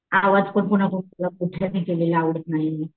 आवाज पण कोना कोणाला मोठा केलेला चालत नाही.